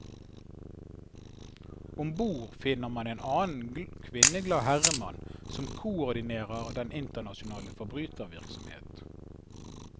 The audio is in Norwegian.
Om bord finner man en annen kvinneglad herremann, som koordinerer den internasjonale forbrytervirksomhet.